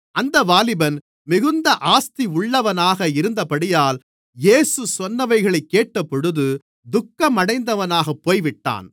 அந்த வாலிபன் மிகுந்த ஆஸ்தியுள்ளவனாக இருந்தபடியால் இயேசு சொன்னவைகளைக் கேட்டபொழுது துக்கமடைந்தவனாகப் போய்விட்டான்